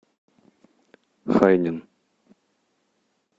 хайнин